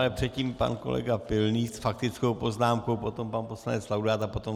Ale předtím pan kolega Pilný s faktickou poznámkou, potom pan poslanec Laudát a potom...